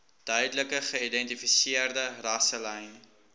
duidelik geïdentifiseerde rasselyne